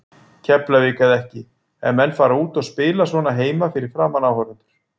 Keflavík eða ekki, ef menn fara út og spila svona heima fyrir framan áhorfendur.